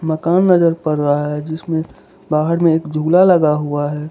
मकान नजर पड़ रहा है जिसमें बाहर में एक झूला लगा हुआ है।